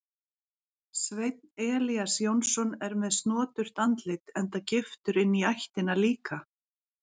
Sveinn Elías Jónsson er með snoturt andlit enda giftur inní ættina líka.